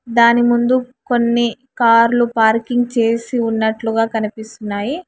దాని ముందు కొన్ని కార్లు పార్కింగ్ చేసి ఉన్నట్లుగా కనిపిస్తున్నాయి.